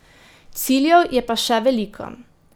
Ciljev je pa še veliko.